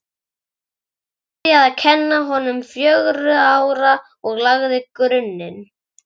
Hún byrjaði að kenna honum fjögurra ára og lagði grunninn.